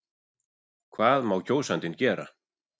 Hvað má kjósandinn gera?